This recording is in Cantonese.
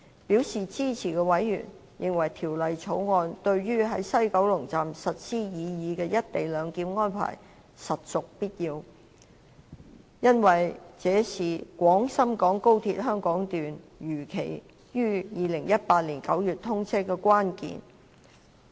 表示支持的委員，認為《條例草案》對於在西九龍站實施擬議"一地兩檢"安排，實屬必要，因為這是廣深港高鐵香港段如期於2018年9月通車的關鍵。